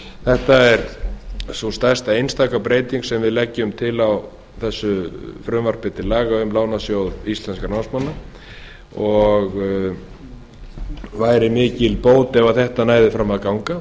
þetta er sú stærsta eintaka breyting sem við leggjum til á þessu frumvarpi til laga um lánasjóð íslenskra námsmanna væri mikil bót ef þetta næði fram að ganga